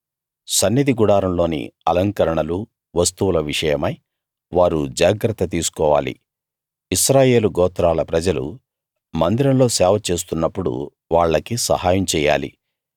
సన్నిధి గుడారంలోని అలంకరణలూ వస్తువుల విషయమై వారు జాగ్రత్త తీసుకోవాలి ఇశ్రాయేలు గోత్రాల ప్రజలు మందిరంలో సేవ చేస్తున్నప్పుడు వాళ్లకి సహాయం చేయాలి